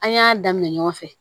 An y'a daminɛ ɲɔgɔn fɛ